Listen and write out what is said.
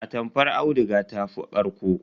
Atamfar auduga ta fi ƙarƙo.